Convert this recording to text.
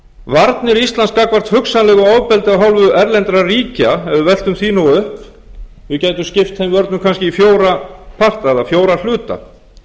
varnir íslands gagnvart hugsanlegu ofbeldi af hálfu erlendra ríkja ef við veltum því nú upp við gætum skipt þeim vörnum kannski í fjóra parta eða fjóra hluta